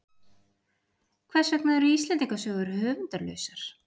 Hvers vegna eru Íslendingasögur höfundarlausar?